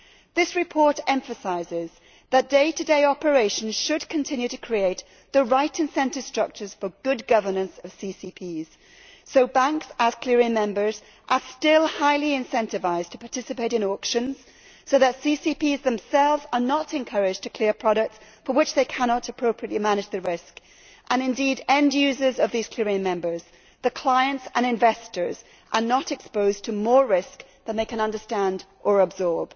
This report emphasises that day to day operations should continue to create the right incentive structures for good governance of CCPs so that banks, as clearing members, are still highly incentivised to participate in auctions, so that CCPs themselves are not encouraged to clear products for which they cannot appropriately manage the risk, and indeed that end users of these clearing members the clients and investors are not exposed to more risk than they can understand or absorb.